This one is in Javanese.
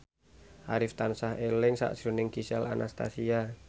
Arif tansah eling sakjroning Gisel Anastasia